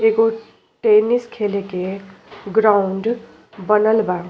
एगो टेनिस खेले के ग्राउंड बनल बा।